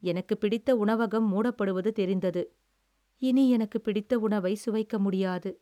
எனக்குப் பிடித்த உணவகம் மூடப்படுவது தெரிந்தது, இனி எனக்கு பிடித்த உணவை சுவைக்க முடியாது.